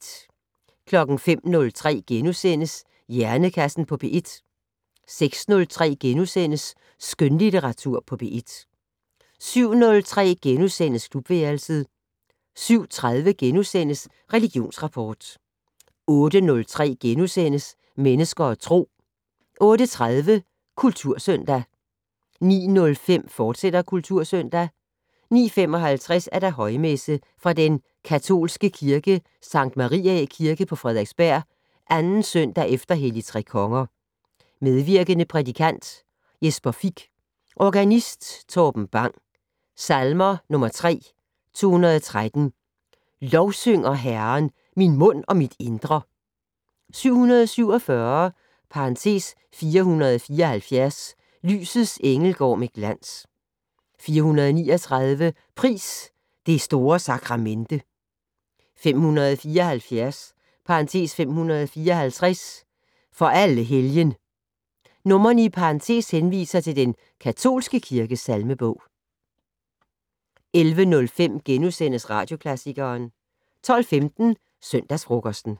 05:03: Hjernekassen på P1 * 06:03: Skønlitteratur på P1 * 07:03: Klubværelset * 07:30: Religionsrapport * 08:03: Mennesker og Tro * 08:30: Kultursøndag 09:07: Kultursøndag, fortsat 09:55: Højmesse - Fra den katolske kirke Sankt Mariæ Kirke, Frederiksberg. 2. søndag efter helligtrekonger. Medvirkende: prædikant: Jesper Fich. Organist: Torben Bang. Salmer: 3 (213) "Lovsynger Herren, min mund og mit indre". 747 (474) "Lysets engel går med glans". (439) "Pris det store sakramente". 574 (554): "For alle Helgen". Numre i parentes henviser til den katolske kirkes salmebog. 11:05: Radioklassikeren * 12:15: Søndagsfrokosten